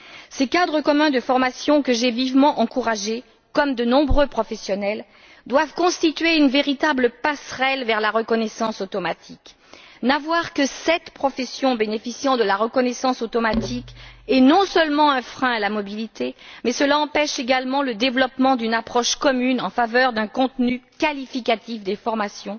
Ces cadres communs de formation, que j'ai vivement encouragés, comme de nombreux professionnels, doivent constituer une véritable passerelle vers la reconnaissance automatique. Le fait qu'il n'y ait que sept professions bénéficiant de la reconnaissance automatique est non seulement un frein à la mobilité mais empêche également le développement d'une approche commune en faveur d'un contenu qualificatif des formations,